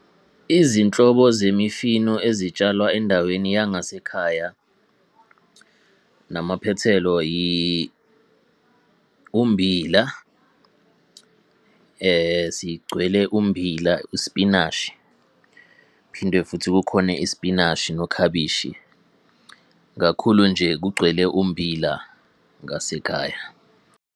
Izinhlobo zemifino ezitshalwa endaweni yangasekhaya namaphethelo ummbila. Sigcwele ummbila ispinashi, phinde futhi kukhona ispinashi nokhabishi. Kakhulu nje kugcwele ummbila ngasekhaya.